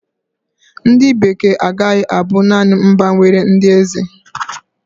Ndị Bekee agaghị abụ naanị mba nwere ndị eze.